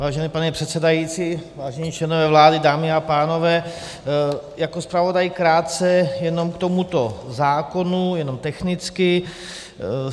Vážený pane předsedající, vážení členové vlády, dámy a pánové, jako zpravodaj krátce jenom k tomuto zákonu, jenom technicky.